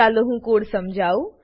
ચાલો હું કોડ સમજાઉ